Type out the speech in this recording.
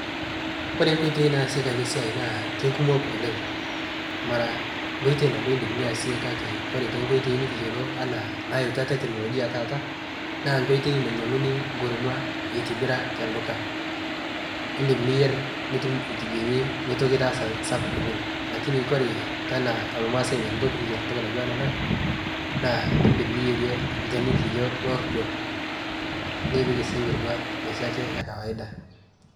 Ore nkoitoi naaseki ale siai naa keikumok oleng' mara nkoitoi nabo idim niase kake kore tenkoitoi nikiyuolo ana nayeutwa teknolojia taata naa nkoitoi nanyeng'uni nkurumwa eitibira te lduka, idim niyier nitum etiwenyi meitoki itaasa sapuk oleng' lakini kore tana lmaasai nikinko piikiyier ntoki natuwaa ana naa idim niyiere lkeni likijo lordo nikipik sii nkurumwa noshi ake e kawada.